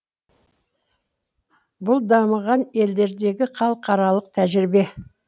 бұл дамыған елдердегі халықаралық тәжірибе